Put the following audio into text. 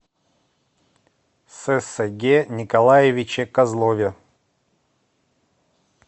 сэсэге николаевиче козлове